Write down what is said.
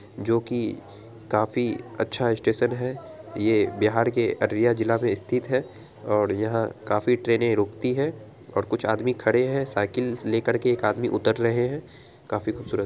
जोकि काफी अच्छा स्टेशन है। ये बिहार के अररिया जिला में स्थित है और यहां काफी ट्रेनें रूकती है और कुछ आदमी खड़े हैं साइकिल लेकर के एक आदमी उतर रहे हैं काफी खूबसूरत --